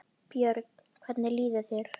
Penslið efsta lagið með smjöri.